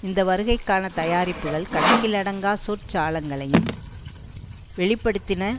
இந்த வருகைக்கான தயாரிப்புக்கள் கணக்கிலடங்கா சொற்ஜாலங்களையும் வெளி படுத்தின